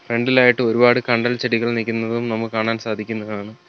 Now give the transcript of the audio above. ഫ്രണ്ടിലായിട്ട് ഒരുപാട് കണ്ടൽ ചെടികൾ നിക്കുന്നതും നമുക്ക് കാണാൻ സാധിക്കുന്നതാണ്.